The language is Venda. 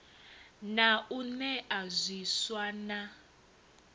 na u nea zwiswa na